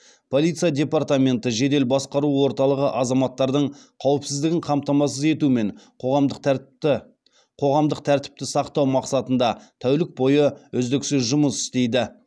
полиция департаменті жедел басқару орталығы азаматтардың қауіпсіздігін қамтамасыз ету мен қоғамдық тәртіпті сақтау мақсатында тәулік бойы үздіксіз жұмыс істейді